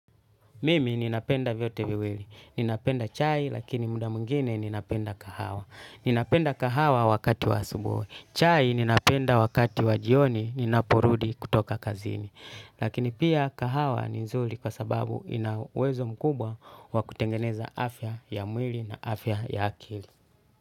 Mimi ninapenda vyote viwili. Ninapenda chai lakini muda mwingine ninapenda kahawa. Ninapenda kahawa wakati wa asubuhi. Chai ninapenda wakati wa jioni ninaporudi kutoka kazini. Lakini pia kahawa ni nzuri kwa sababu inawezo mkubwa wa kutengeneza afya ya mwili na afya ya akili.